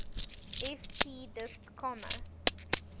ft disp comma